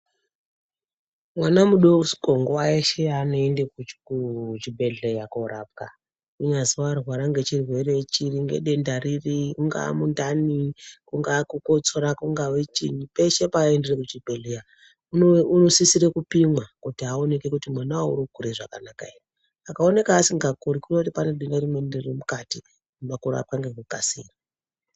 Mwana mudoko nguwa yeshe yeanoende kuchibhedhlera korapwa kunyazwi warwara ngechirwere chiri, ngedenda riri, mungaa mundani kungaa kukotsora, kungawe chinyi, peshe peaendere kuchibhedhlera unosisire kupimwa kuti aoneke kuti manawo urikukura zvakanaka here. Akaonekwa asikakuri zvinoreva kuti pane denda ririmukati rinoda kurapwa nekukasika.